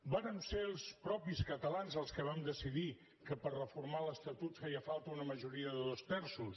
vàrem ser els mateixos catalans els que vam decidir que per reformar l’estatut feia falta una majoria de dos terços